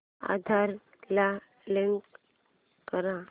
आधार ला लिंक कर